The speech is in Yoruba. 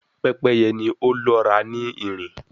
Pepeye ni o lọra ni nrin